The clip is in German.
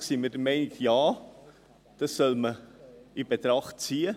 Grundsätzlich sind wir der Meinung, dies soll man in Betracht ziehen.